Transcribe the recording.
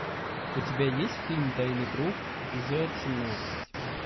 у тебя есть фильм тайный круг эпизод семнадцать